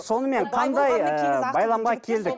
сонымен қандай ыыы байламға келдік